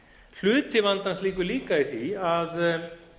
hluti vandans liggur líka í því að